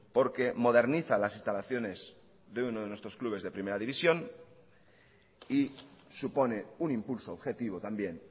porque moderniza las instalaciones de uno de nuestros clubes de primera división y supone un impulso objetivo también